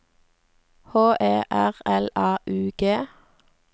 H E R L A U G